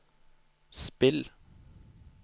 spill